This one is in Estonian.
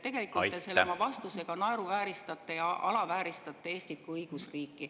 Tegelikult te ministrina oma selle vastusega naeruvääristate ja alavääristate Eestit kui õigusriiki.